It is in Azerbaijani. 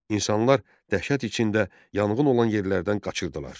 İnsanlar dəhşət içində yanğın olan yerlərdən qaçırdılar.